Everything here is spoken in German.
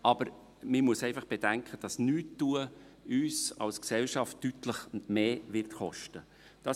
Aber man muss einfach bedenken, dass Nichtstun uns als Gesellschaft deutlich mehr kosten wird.